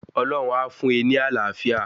Ọlọ́hun a fún e ní Àlàáfíà